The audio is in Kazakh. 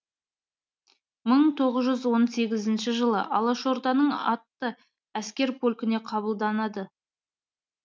жылы алашорданың атты әскер полкіне қабылданады